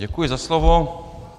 Děkuji za slovo.